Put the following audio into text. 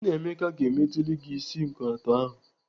Nnaemeka ga-emeteli gị isi nkọato ahụ.